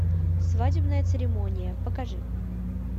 свадебная церемония покажи